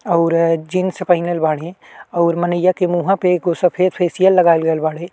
अउर-अ jeans पहिनल बाड्ही अउर मनइया के मुहाँ पे एगो सफ़ेद फेसिअल लगाइल गइल बाड़े।